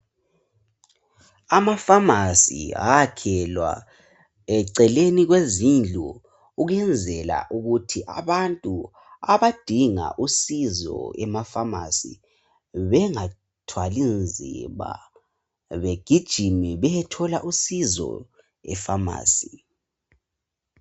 Amafamasi ayakhelwa eceleni kwezindlu ukwenzela ukuthi abantu abadinga usizo emafamasi bengathwali nzima begijime beyethola usizo efamasi.